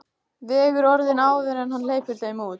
Vegur orðin áður en hann hleypir þeim út.